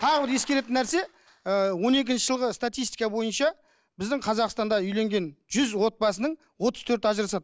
тағы бір ескеретін нәрсе ыыы он екінші жылғы статистика бойынша біздің қазақстанда үйленген жүз отбасының отыз төрті ажырасады